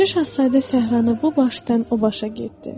Balaca Şahzadə səhranı bu başdan o başa getdi.